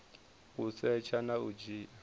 u setsha na u dzhia